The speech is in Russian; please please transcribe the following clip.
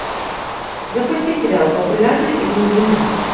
запусти сериал популярна и влюблена